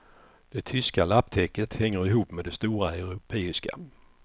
Det tyska lapptäcket hänger ihop med det stora europeiska.